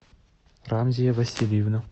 рамзия васильевна